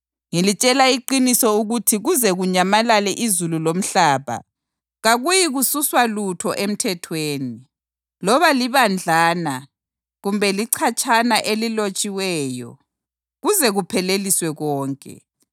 Ngilitshela iqiniso ukuthi kuze kunyamalale izulu lomhlaba kakuyikususwa lutho eMthethweni, loba libadlana kumbe lichatshana elilotshiweyo, kuze kupheleliswe konke.